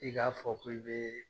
I k'a fɔ k'i be